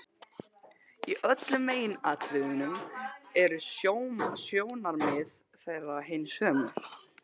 Í öllum meginatriðum eru sjónarmið þeirra hin sömu.